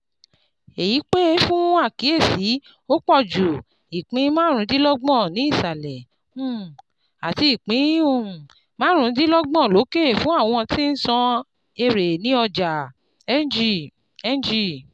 Èyí pè fún àkíyèsí ó pọ̀ ju ìpín márùndínlọ́gbọ̀n ní ìsàlẹ̀ um àti ìpín um márùndínlọ́gbọ̀n lókè fún àwọn tí ńsan èèrè ní ọjà NG. NG.